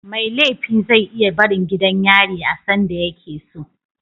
Mai laifi ze iya barin gidan yari a sanda yakeso